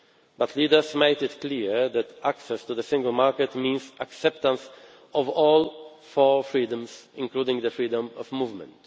But leaders made it clear that access to the single market means acceptance of all four freedoms, including the freedom of movement.